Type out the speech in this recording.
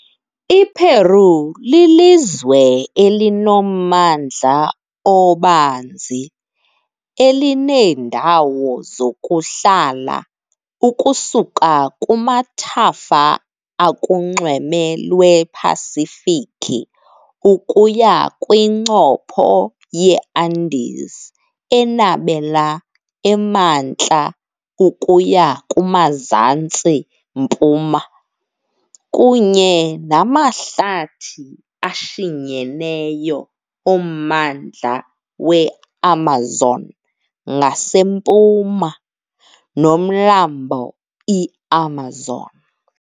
IPeu lilizwe elinommandla obanzi, elineendawo zokuhlala ukusuka kumathafa akunxweme lwePasifiki ukuya kwincopho yeAndes enabela emantla ukuya kumzantsi-mpuma, kunye namahlathi ashinyeneyo ommandla weAmazon ngasempuma, noMlambo iAmazon .